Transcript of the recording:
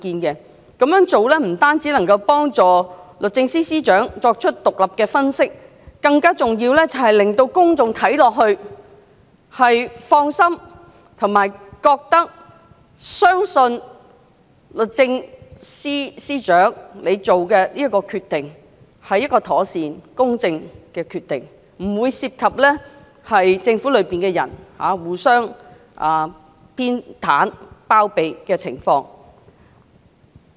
這樣做不單有助司長作出獨立的分析，更重要的，是令公眾感到放心及相信律政司司長所作出的決定妥善公正，不涉及政府內部互相偏袒及包庇的情況。